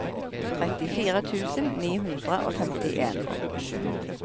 trettifire tusen ni hundre og femtien